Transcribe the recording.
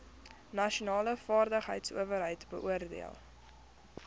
nasionale vaardigheidsowerheid beoordeel